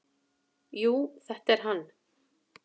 """Jú, þetta er hann."""